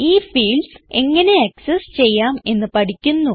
ഈ ഫീൽഡ്സ് എങ്ങനെ ആക്സസ് ചെയ്യാം എന്ന് പഠിക്കുന്നു